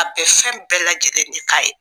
A bɛ fɛn bɛɛ lajɛlen de k'a ye.